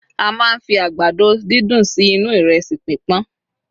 a ma n fi àgbàdo didun sí inú iresi pipọn